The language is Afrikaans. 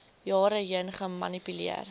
jare heen gemanipuleer